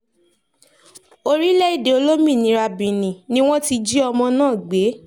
orílẹ̀-èdè olómìnira benin ni wọ́n ti jí ọmọ náà gbé